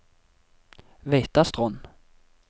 Veitastrond